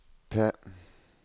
P